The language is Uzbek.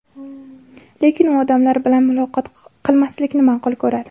Lekin u odamlar bilan muloqot qilmaslikni ma’qul ko‘radi.